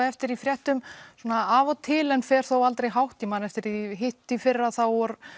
eftir í fréttum svona af og til en fer þó aldrei hátt ég man eftir því í hitt í fyrra þá